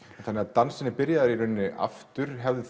þannig að dansinn er byrjaður í rauninni aftur hafði